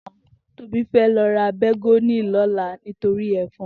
Tobi fè lò rá bégòní lòlá nitóri èfòn